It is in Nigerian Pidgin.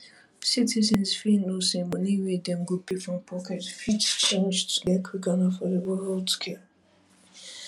citizens fit know say money wey dem go pay from pocket fit change to get quick and affordable healthcare